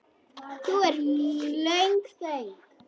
Nú er löng þögn.